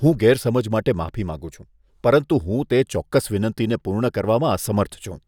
હું ગેરસમજ માટે માફી માંગું છું, પરંતુ હું તે ચોક્કસ વિનંતીને પૂર્ણ કરવામાં અસમર્થ છું.